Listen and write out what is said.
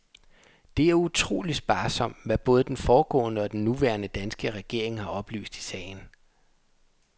Det er utrolig sparsomt, hvad både den foregående og den nuværende danske regering har oplyst i sagen.